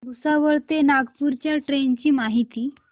भुसावळ ते नागपूर च्या ट्रेन ची माहिती